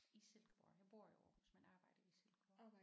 I Silkeborg jeg bor i Aarhus men arbejder i Silkeborg